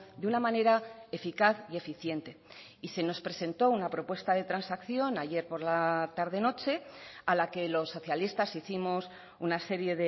de una manera eficaz y eficiente y se nos presentó una propuesta de transacción ayer por la tarde noche a la que los socialistas hicimos una serie